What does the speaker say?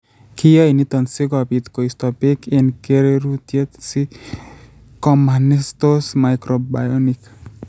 Kiyaei niito si kobiit koisto peek eng' kererutyet, si koma nertos mikrobionik.